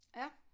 Ja